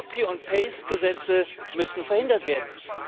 Copy und Paste Gesetze müssen verhindert werden.